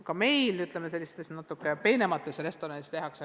Ka meil mõnes peenemas restoranis nii tehakse.